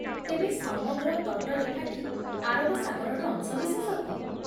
ତେବେ, ସମଗ୍ର ତଟରେଖାଟି ଆରବ ସାଗରର ଅଂଶବିଶେଷ କି?